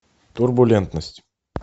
турбулентность